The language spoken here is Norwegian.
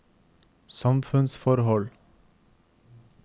samfunnsforhold